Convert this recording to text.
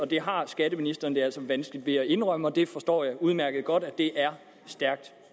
det har skatteministeren altså vanskeligt ved at indrømme og det forstår jeg udmærket godt og det er stærkt